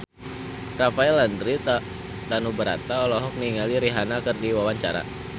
Rafael Landry Tanubrata olohok ningali Rihanna keur diwawancara